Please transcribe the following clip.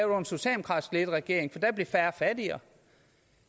under en socialdemokratisk ledet regering for da blev færre fattigere